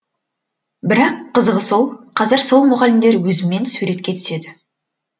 бірақ қызығы сол қазір сол мұғалімдер өзіммен суретке түседі